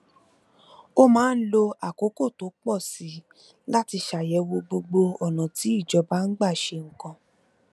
ó máa ń lo àkókò tó pò sí i láti ṣàyèwò gbogbo ònà tí ìjọba ń gbà ṣe nǹkan